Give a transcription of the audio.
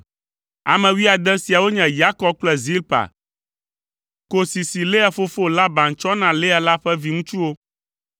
Ame wuiade siawo nye Yakob kple Zilpa, kosi si Lea fofo Laban tsɔ na Lea la ƒe viŋutsuwo.